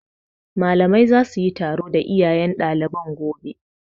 Malaman za su yi taro da iyayen ɗaliban gobe